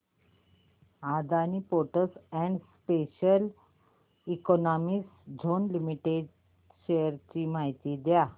Adani ports and special economic zone limited shares ची माहिती द्या